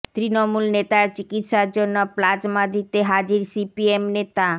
তৃণমূল নেতার চিকিৎসার জন্য প্লাজ়মা দিতে হাজির সিপিএম নেতা